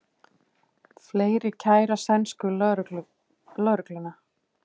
Fleiri kæra sænsku lögregluna